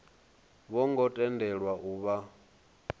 vho ngo tendelwa u vha